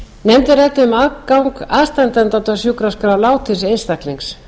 um aðgang aðstandenda að sjúkraskrá látins einstaklings